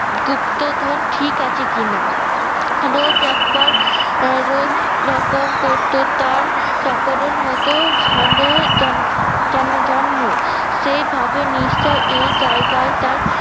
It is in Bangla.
গুপ্তধন ঠিক আছে কিনা। রোজ একবার রোজ লকম করতো তার চাকরের মতো সন্দেহের যান জাননা জন্ম সে ভাবে নিশ্চই এই জায়গায় তার